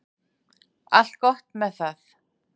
Allt gott með það.